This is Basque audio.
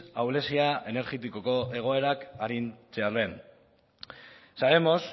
ahulezia energetikoko egoerak arintzearen alde sabemos